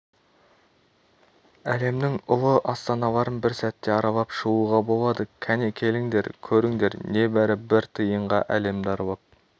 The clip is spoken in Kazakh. әлемнің ұлы астаналарын бір сәтте аралап шығуға болады кәне келіңдер көріңдер небәрі бір тиынға әлемді аралап